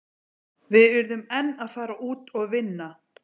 Við urðum enn að fara út og vinna.